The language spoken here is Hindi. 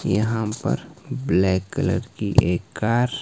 यहां पर ब्लैक कलर की एक कार --